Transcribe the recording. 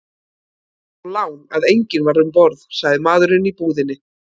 Það var þó lán að enginn var um borð, sagði maðurinn í búðinni.